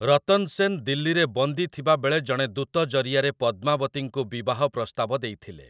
ରତନ୍ ସେନ୍ ଦିଲ୍ଲୀରେ ବନ୍ଦୀ ଥିବା ବେଳେ ଜଣେ ଦୂତ ଜରିଆରେ ପଦ୍ମାବତୀଙ୍କୁ ବିବାହ ପ୍ରସ୍ତାବ ଦେଇଥିଲେ ।